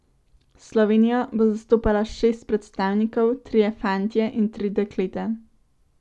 Slovenijo bo zastopalo šest predstavnikov, trije fantje in tri dekleta.